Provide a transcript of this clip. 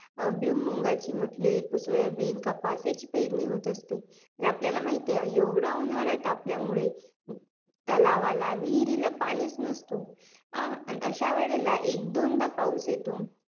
अं भुइमंगची म्हंटली कुठे बी कपाशीची पेरणी होत असते. तर आपल्याला माहितयं की एवढ्या उन्हाळ्यात, आपल्यामुळे तलावाला, विहिरीला पाणीचं नसतो. अं? आणि अशा वेळेला एकदोनदा पाऊस येतो.